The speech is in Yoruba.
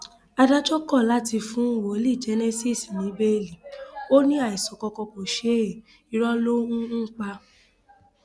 adájọ kọ láti fún wòlíì genesis ní bẹẹlí ò ní àìsàn kankan kò ṣe é irọ ló ń ń pa